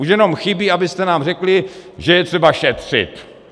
Už jenom chybí, abyste nám řekli, že je třeba šetřit.